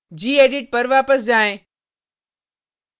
gedit पर वापस जाएँ